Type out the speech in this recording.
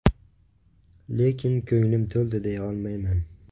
Lekin ko‘nglim to‘ldi deya olmayman.